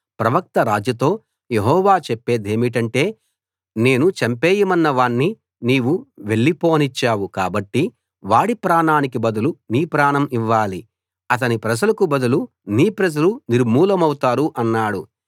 ప్రవక్త రాజుతో యెహోవా చెప్పేదేమిటంటే నేను చంపేయమన్న వాణ్ణి నీవు వెళ్లిపోనిచ్చావు కాబట్టి వాడి ప్రాణానికి బదులు నీ ప్రాణం ఇవ్వాలి అతని ప్రజలకు బదులు నీ ప్రజలు నిర్మూలమవుతారు అన్నాడు